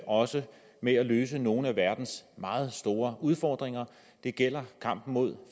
også med at løse nogle af verdens meget store udfordringer det gælder kampen mod